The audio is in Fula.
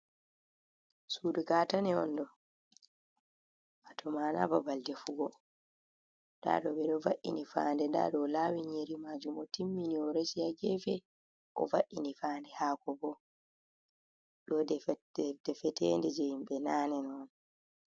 Sudu ka tane onɗo wato ma'ana babal defugo ndado edo va’ini fande nda ɗo lawin nyiiri majum otimmini oresi ha gefe o va’ini fande hakobo ɗo defetende je himɓe nane on.